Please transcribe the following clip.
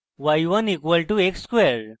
y1 = x square